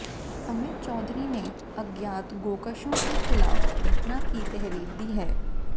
अमित चौधरी ने अज्ञात गोेकशों के खिलाफ घटना की तहरीर दी है